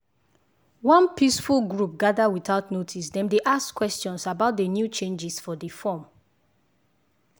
one peaceful group gather without notice dem dey ask questions about the new changes for the form.